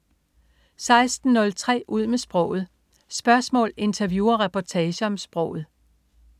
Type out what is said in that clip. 16.03 Ud med sproget. Spørgsmål, interview og reportager om sproget